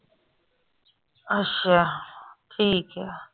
ਅਸ਼ਾ ਠੀਕ ਆ